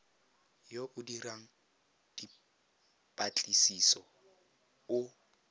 yo o dirang dipatlisiso o